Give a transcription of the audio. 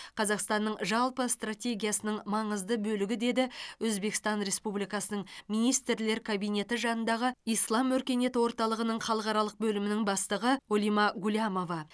қазақстанның жалпы стратегиясының маңызды бөлігі деді өзбекстан республикасының министрлер кабинеті жанындағы ислам өркениеті орталығының халықаралық бөлімінің бастығы олима гулямова